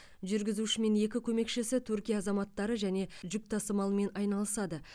жүргізуші мен екі көмекшісі түркия азаматтары және жүк тасымалымен айналысады